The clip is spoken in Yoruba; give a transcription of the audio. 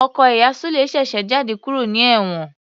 Ọkọ ìyá Sule ṣèṣe jáde kúrò ní ewon